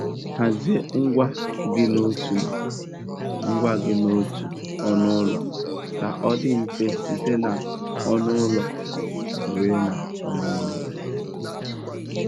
Hazie ngwa gị n'otu ngwa gị n'otu ọnụ ụlọ ka ọ dị mfe site n'ọnụ ụlọ ruo n'ọnụ ụlọ.